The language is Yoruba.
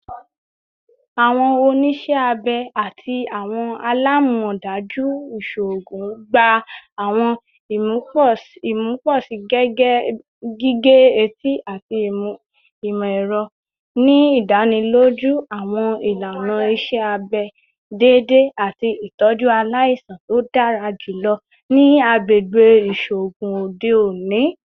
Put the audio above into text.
Awọn oniṣẹ abẹ ati awọn alamọdaju iṣoogun gba awọn imuposi gige-eti ati imọ-ẹrọ, ni idaniloju awọn ilana iṣẹ abẹ deede ati itọju alaisan to dara julọ ni agbegbe iṣoogun ode oni.